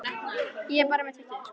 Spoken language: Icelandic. Ég er búin að kaupa þau út úr húsinu.